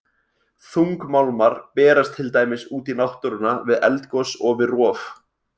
Þungmálmar berast til dæmis út í náttúruna við eldgos og við rof.